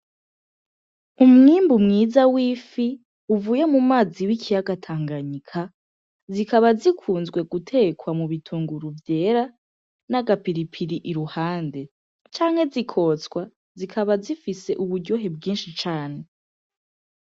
Umwimbu mwiza w'ifi uvuye mu mazi w'ikiyaga tanganyika, zikaba zikunzwe gutekwa mu bitunguru vyera n'agapiripiri iruhande canke zikotswa, zikaba zifise uburyohe bwinshi cane .